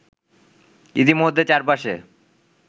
ইতিমধ্যে চার পাশে